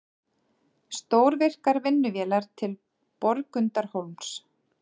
Stórvirkar vinnuvélar til Borgundarhólms